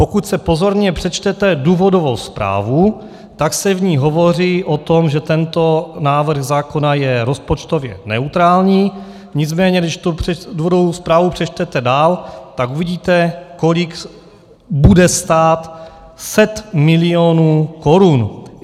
Pokud si pozorně přečtete důvodovou zprávu, tak se v ní hovoří o tom, že tento návrh zákona je rozpočtově neutrální, nicméně když tu důvodovou zprávu přečtete dál, tak uvidíte, kolik bude stát set milionů korun.